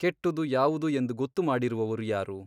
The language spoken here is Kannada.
ಕೆಟ್ಟುದು ಯಾವುದು ಎಂದು ಗೊತ್ತುಮಾಡಿರುವವರು ಯಾರು?